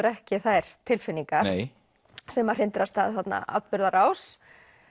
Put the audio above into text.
ekki þær tilfinningar nei sem að hrindir af stað þarna atburðarás